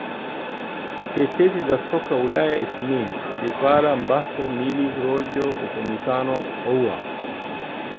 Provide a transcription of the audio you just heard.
Tetesi za Soka Ulaya Isniin : Dybala, Mbappe, Milik, Rojo, Upamecano, Aouar